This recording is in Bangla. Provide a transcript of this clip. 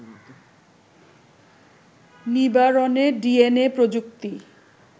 নিবারণে ডিএনএ প্রযুক্তি